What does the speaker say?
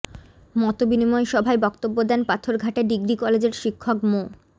মতবিনিময় সভায় বক্তব্য দেন পাথরঘাটা ডিগ্রি কলেজের শিক্ষক মো